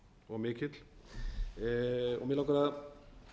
og mikill mig langar að